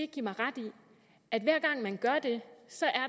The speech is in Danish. give mig ret i at hver gang man gør det